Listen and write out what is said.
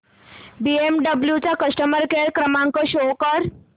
BMW चा customer care क्रमांक show कर